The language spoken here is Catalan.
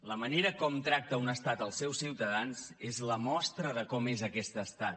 la manera com tracta un estat els seus ciutadans és la mostra de com és aquest estat